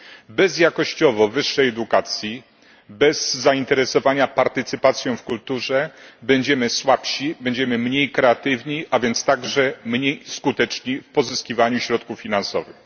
Bez wysokiej jakości edukacji, bez zainteresowania partycypacją w kulturze będziemy słabsi, będziemy mniej kreatywni, a więc także mniej skuteczni w pozyskiwaniu środków finansowych.